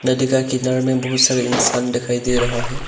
नदी का किनारे में बहोत सारे इंसान दिखाई दे रहा है।